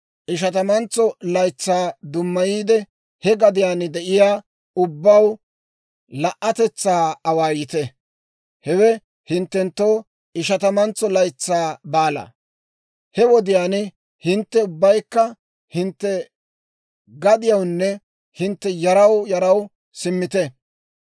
Ishatamantso laytsaa dummayiide, he gadiyaan de'iyaa ubbaw la"atetsaa awaayite. Hewe hinttenttoo Ishatamantso Laytsaa Baalaa. He wodiyaan hintte ubbaykka hintte gadiyawunne hintte yaraw yaraw simmite.